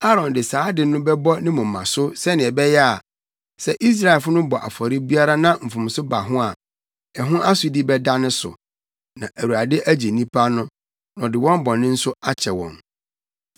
Aaron de saa ade no bɛbɔ ne moma so sɛnea ɛbɛyɛ a, sɛ Israelfo no bɔ afɔre biara na mfomso ba ho a, ɛho asodi bɛda ne so, na Awurade agye nnipa no, na ɔde wɔn bɔne nso akyɛ wɔn.